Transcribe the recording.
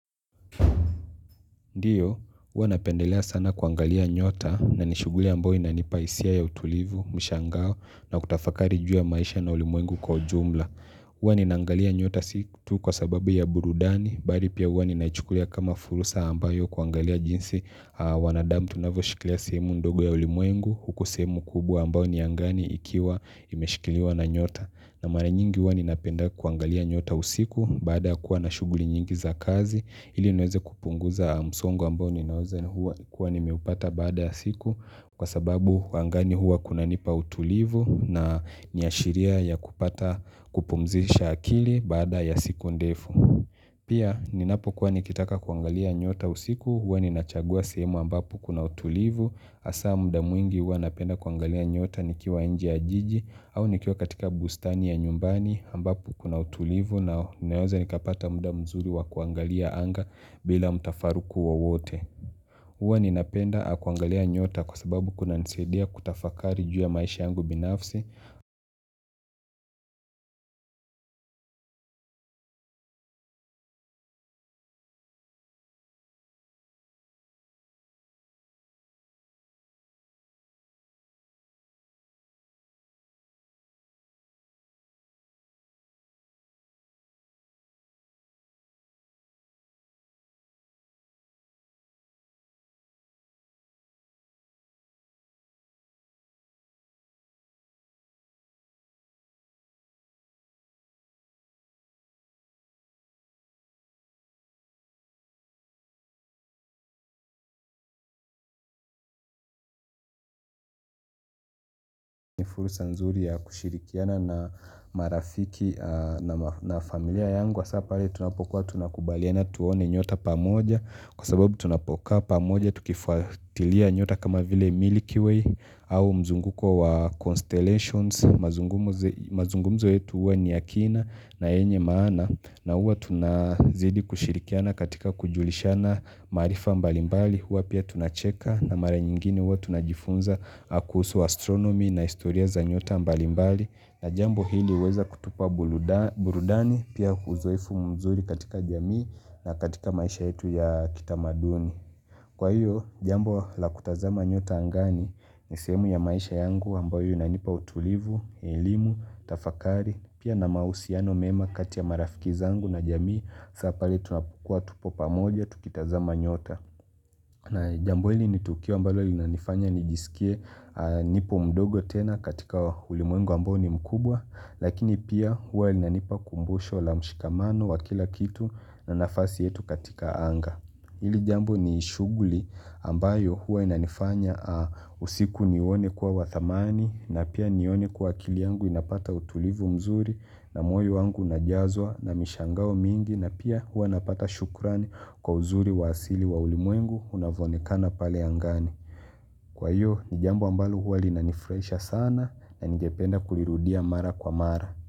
Ndiyo, huwa napendelea sana kuangalia nyota na nishughuli ambayo inanipa hisia ya utulivu, mshangao na kutafakari juu ya maisha na ulimwengu kwa jumla. Huwa ninaangalia nyota si tu kwa sababu ya burudani, bali pia huwa ninaichukulia kama fursa ambayo kuangalia jinsi wanadamu tunavyoshikilia sehemu ndogo ya ulimwengu, huko sehemu kubwa ambayo ni angani ikiwa imeshikiliwa na nyota. Na mara nyingi huwa ninapenda kuangalia nyota usiku baada kuwa na shughuli nyingi za kazi ili nweze kupunguza msongo ambao ninaweza huwa kuwa nimepata baada ya siku kwa sababu angani huwa kuna nipa utulivu na niashiria ya kupata kupumzisha akili baada ya siku ndefu. Pia ninapo kuwa nikitaka kuangalia nyota usiku huwa ninachagua sehemu ambapo kuna utulivu hasa muda mwingi huwa napenda kuangalia nyota nikiwa nje ya jiji au nikiwa katika bustani ya nyumbani ambapo kuna utulivu na naweza nikapata muda mzuri wa kuangalia anga bila mtafaruku wowote. Huwa ninapenda kuangalia nyota kwa sababu kuna nisaidia kutafakari juu ya maisha yangu binafsi. Ni fursa nzuri ya kushirikiana na marafiki na familia yangu. Sa pale tunapokuwa tunakubaliana tuone nyota pamoja. Kwa sababu tunapokaa pamoja tukifuatilia nyota kama vile Milky Way au mzunguko wa Constellations. Mazungumzo yetu huwa ni yakina na yenye maana. Na huwa tunazidi kushirikiana katika kujulishana maarifa mbalimbali huwa pia tunacheka na mara nyingine huwa tunajifunza kuhusu astronomy na historia za nyota mbalimbali na jambo hili huweza kutupa burudani burudani. Pia uzoefu mzuri katika jamii na katika maisha yetu ya kitamaduni kwa hiyo jambo la kutazama nyota angani ni sehemu ya maisha yangu ambayo inanipa utulivu, elimu, tafakari. Pia na mahusiano mema katia marafiki zangu na jamii sa pale tunapokuwa tupo pamoja, tukitazama nyota na jambo hili nitukio ambalo linanifanya nijisikie nipo mdogo tena katika ulimwengu ambao ni mkubwa lakini pia huwa inanipa kumbusho la mshikamano wa kila kitu na nafasi yetu katika anga hili jambo ni shughuli ambayo huwa inanifanya usiku niwone kuwa wa thamani na pia nione kwa akili yangu inapata utulivu mzuri na moyo wangu unajazwa na mishangao mingi na pia huwa napata shukrani kwa uzuri wa asili wa ulimwengu unaoonekana pale angani. Kwa hiyo, ni jambo ambalo huwa linanifurahisha sana na ningependa kulirudia mara kwa mara.